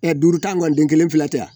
duuru ta kɔni den kelen filɛ yan